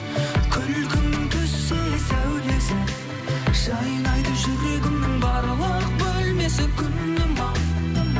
күлкіңнің түссе сәулесі жайнайды жүрегімнің барлық бөлмесі күнім ау